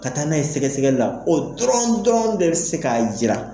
Ka taa n'a ye sɛgɛsɛgɛli la o dɔrɔnw dɔrɔnw de bɛ se k'a jira.